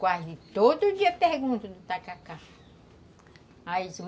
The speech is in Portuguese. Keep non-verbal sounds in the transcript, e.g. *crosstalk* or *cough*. Quase todo dia perguntam do tacacá *unintelligible*